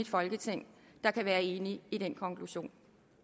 folketing der kan være enige i den konklusion